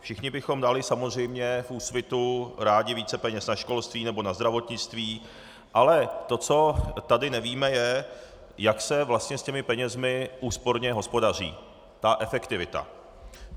Všichni bychom dali samozřejmě v Úsvitu rádi více peněz na školství nebo na zdravotnictví, ale to, co tady nevíme, je, jak se vlastně s těmi penězi úsporně hospodaří, ta efektivita.